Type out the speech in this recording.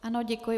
Ano, děkuji.